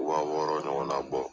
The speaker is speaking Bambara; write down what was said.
waa wɔɔrɔ ɲɔgɔnna bɔ